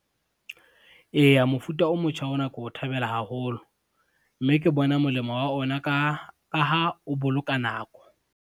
Eya, mofuta o motjha ona ke o thabela haholo, mme ke bona molemo wa ona ka ha o boloka nako.